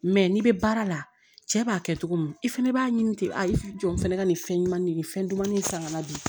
n'i bɛ baara la cɛ b'a kɛ cogo min i fana b'a ɲini ten a i bɛ jɔ n fɛnɛ ka nin fɛn ɲuman de nin fɛn dumanni san ka na bi